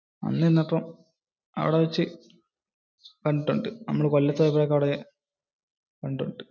അപ്പോ അവിടെ വെച്ച് കണ്ടിട്ടുണ്ട്. നമ്മൾ കൊല്ലത്തു പോയപ്പോൾ.